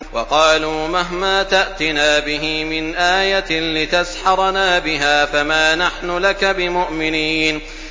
وَقَالُوا مَهْمَا تَأْتِنَا بِهِ مِنْ آيَةٍ لِّتَسْحَرَنَا بِهَا فَمَا نَحْنُ لَكَ بِمُؤْمِنِينَ